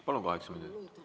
Palun, kaheksa minutit.